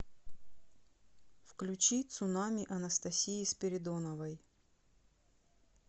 включи цунами анастасии спиридоновой